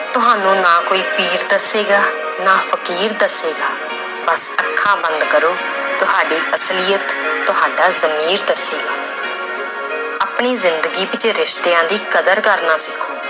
ਤੁਹਾਨੂੰ ਨਾ ਕੋਈ ਪੀਰ ਦੱਸੇਗਾ, ਨਾ ਫ਼ਕੀਰ ਦੱਸੇਗਾ ਬਸ ਅੱਖਾਂ ਬੰਦ ਕਰੋ ਤੁਹਾਡੀ ਅਸਲੀਅਤ ਤੁਹਾਡਾ ਜ਼ਮੀਰ ਦੱਸੇਗੀ ਆਪਣੀ ਜ਼ਿੰਦਗੀ ਵਿੱਚ ਰਿਸ਼ਤਿਆਂ ਦੀ ਕਦਰ ਕਰਨਾ ਸਿੱਖੋ